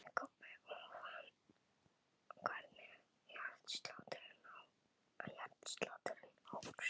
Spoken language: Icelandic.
Jæja, sagði Kobbi og fann hvernig hjartslátturinn óx.